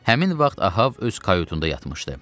Həmin vaxt Ahab öz kayutunda yatmışdı.